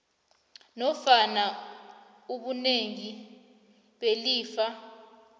nofana ubunengi belifa